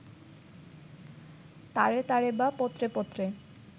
তারে তারে বা পত্রে পত্রে